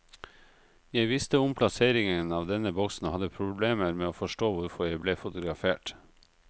Jeg visste om plasseringen av denne boksen og hadde problemer med å forstå hvorfor jeg ble fotografert.